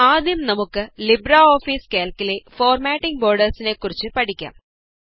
ആദ്യം നമുക്ക് ലിബ്രെഓഫീസ് കാല്ക്കിലെ ഫോര്മാറ്റിംഗ് ബോര്ഡേര്സിനെ കുറിച്ച് പഠിക്കാം